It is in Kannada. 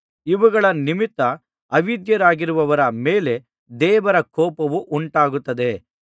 ಇವುಗಳ ನಿಮಿತ್ತ ಅವಿಧೇಯರಾಗುವವರ ಮೇಲೆ ದೇವರ ಕೋಪವು ಉಂಟಾಗುತ್ತದೆ